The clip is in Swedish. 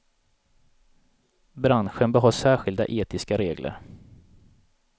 Branschen bör ha särskilda etiska regler.